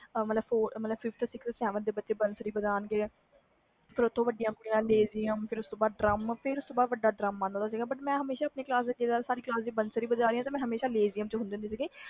five to sevent ਤਕ ਬੱਚੇ ਬੰਸੂਰੀ ਬੇਜਾਨ ਗਏ ਫਿਰ ਉਸ ਤੋਂ ਬਾਅਦ ਵੱਡੀਆਂ ਡ੍ਰਮ lezim ਫਿਰ ਉਸਤੋਂ ਬਾਅਦ ਵੱਡਾ ਡ੍ਰਮ ਆਂਦਾ ਸੀ ਮੈਂ ਹਮੇਸ਼ਾ ਸਾਡੀ ਕਲਾਸ ਨੇ ਬੰਸੂਰੀ ਵਜਾਣੀ ਤੇ ਮੈਂ ਹਮੇਸ਼ਾ lezim ਵਿਚ ਹੁੰਦੀ ਸੀ